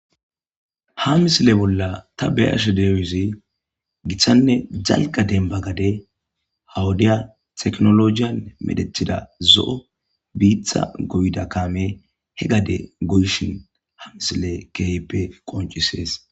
Ha misileza bolla ta ba'ashe dizays gitanne dalga demba gade ha wodiya tekinolojiyan medhetida zo'o bita goda kamey he gade goyishn ha misiley keehippe qoncises.